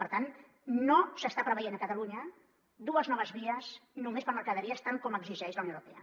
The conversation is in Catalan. per tant no s’estan preveient a catalunya dues noves vies només per a mercaderies tant com exigeix la unió europea